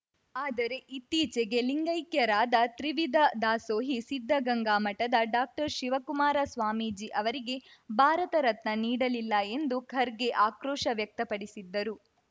ಆದರೆ ಇತ್ತೀಚೆಗೆ ಲಿಂಗೈಕ್ಯರಾದ ತ್ರಿವಿಧ ದಾಸೋಹಿ ಸಿದ್ಧಗಂಗಾ ಮಠದ ಡಾಕ್ಟರ್ ಶಿವಕುಮಾರ ಸ್ವಾಮೀಜಿ ಅವರಿಗೆ ಭಾರತ ರತ್ನ ನೀಡಲಿಲ್ಲ ಎಂದು ಖರ್ಗೆ ಆಕ್ರೋಶ ವ್ಯಕ್ತಪಡಿಸಿದ್ದರು